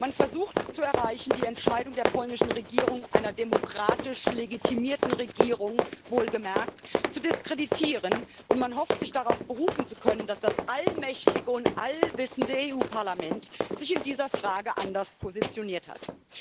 Man versucht, die Entscheidung der polnischen Regierung einer demokratisch legitimierten Regierung wohlgemerkt zu diskreditieren, und man hofft, sich darauf berufen zu können, dass das allmächtige und allwissende Europäische Parlament sich in dieser Frage anders positioniert hat.